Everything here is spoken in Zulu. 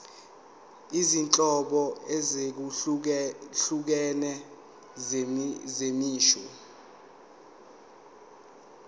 izinhlobo ezahlukene zemisho